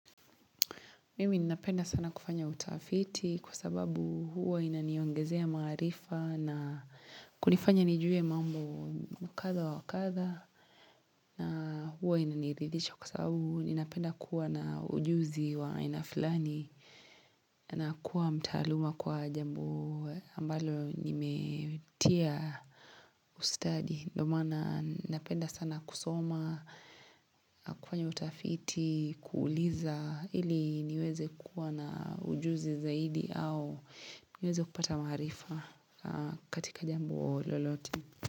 Mimi ninapenda sana kufanya utafiti kwa sababu huwa inaniongezea maarifa na kunifanya nijue mambo mkatha wa wakatha na huwa inaniridhisha kwa sababu ninapenda kuwa na ujuzi wa aina fulani na kuwa mtaaluma kwa jambo ambalo nimetia ustadi. Ndo maana napenda sana kusoma kufanya utafiti kuuliza ili niweze kuwa na ujuzi zaidi au niweze kupata maarifa katika jambo lolote.